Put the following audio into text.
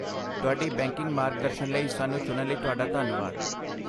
ਤੁਹਾਡੀ ਬੈਂਕਿੰਗ ਮਾਰਗਦਰਸ਼ਨ ਲਈ ਸਾਨੂੰ ਚੁਣਨ ਲਈ ਤੁਹਾਡਾ ਧੰਨਵਾਦ।